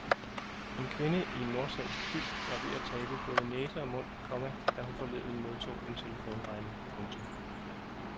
En kvinde i en nordsvensk by var ved at tabe både næse og mund, komma da hun forleden modtog en telefonregning. punktum